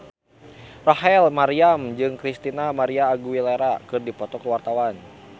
Rachel Maryam jeung Christina María Aguilera keur dipoto ku wartawan